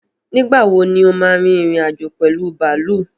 Nígbàwo ní o ma rin ìrìn-àjò pẹ̀lú bàálù?